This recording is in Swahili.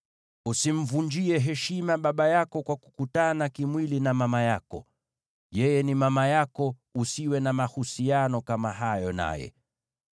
“ ‘Usimvunjie heshima baba yako kwa kukutana kimwili na mama yako. Yeye ni mama yako; usiwe na mahusiano kama hayo naye.